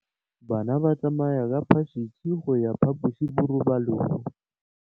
Bana ba tsamaya ka phašitshe go ya kwa phaposiborobalong.